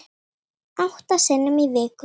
Átta sinnum í viku.